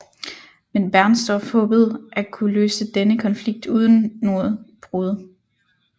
Men Bernstorff håbede at kunne løse denne konflikt uden noget brud